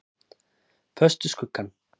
Föst við skuggann.